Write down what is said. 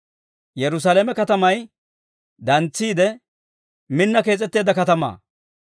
Yerusaalame katamay, dantsetiide minni kees'etteedda katamaa.